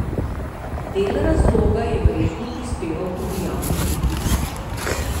Del razloga je verjetno prispeval tudi javni pritisk.